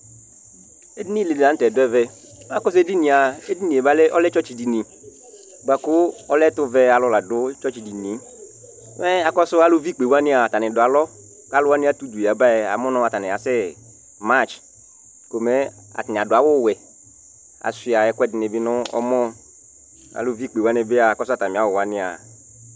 Ɛɖìní ɖi la ŋtɛ ɖu ɛvɛ Ɛɖìní lɛ tsɔtsi ɖìŋí bʋakʋ ɔlɛ ɛtuvɛ alu la ɖu tsɔtsi ɖínie Aluvi ikpewani , ataŋi ɖu alɔ kʋ aluwaŋi ati ʋdu abaɛ ataŋi asɛ march Ataŋi aɖu awu wɛ Ajʋa ɛkʋɛɖiŋi bi ŋu ɛmɔ